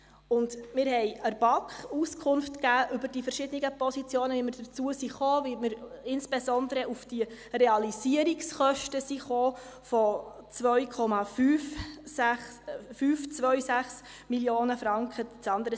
Wir haben der BaK Auskunft über die verschiedenen Positionen gegeben, wie wir dazu kamen, insbesondere wie wir auf diese Realisierungskosten von 2,526 Mio. Franken kamen.